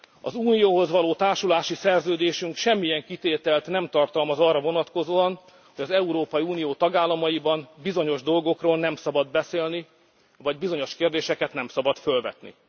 nem. Az Unióhoz való társulási szerződésünk semmilyen kitételt nem tartalmaz arra vonatkozóan, hogy az Európai Unió tagállamaiban bizonyos dolgokról nem szabad beszélni, vagy bizonyos kérdéseket nem szabad fölvetni.